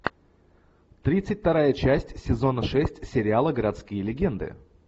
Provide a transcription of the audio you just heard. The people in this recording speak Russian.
тридцать вторая часть сезона шесть сериала городские легенды